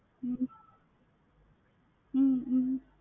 ஹம் ஹம்